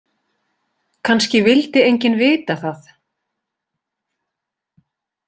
Kannski vildi enginn vita það.